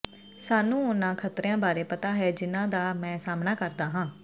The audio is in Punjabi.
ਸਾਨੂੰ ਉਨ੍ਹਾਂ ਖ਼ਤਰਿਆਂ ਬਾਰੇ ਪਤਾ ਹੈ ਜਿਨ੍ਹਾਂ ਦਾ ਮੈਂ ਸਾਹਮਣਾ ਕਰਦਾ ਹਾਂ